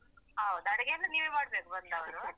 ಹೌದು ಅಡಿಗೆಯೆಲ್ಲ ನೀವೆ ಮಾಡ್ಬೇಕು ಬಂದವರು.